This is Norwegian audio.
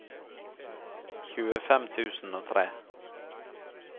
tjuefem tusen og tre